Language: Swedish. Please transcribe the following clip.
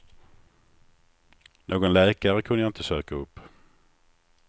Någon läkare kunde jag inte söka upp.